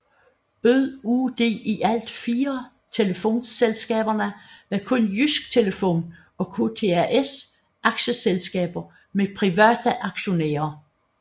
Ud af de i alt fire telefonselskaber var kun Jydsk Telefon og KTAS aktieselskaber med private aktionærer